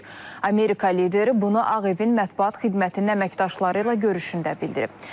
Amerika lideri bunu Ağ Evin mətbuat xidmətinin əməkdaşları ilə görüşündə bildirib.